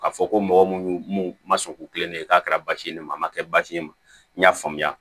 K'a fɔ ko mɔgɔ mun ma sɔn k'u kilen ne ye k'a kɛra basi ye ma kɛ basi ye ma n y'a faamuya